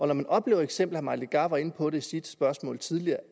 man oplever eksempler mike legarth var inde på det i sit spørgsmål tidligere